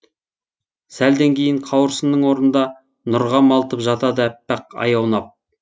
сәлден кейін қауырсынның орынында нұрға малтып жатады әппақ ай аунап